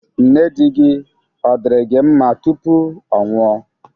Nne di gị, ọ̀ diri gi nma tupu ọ nwụọ?